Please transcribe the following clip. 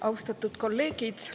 Austatud kolleegid!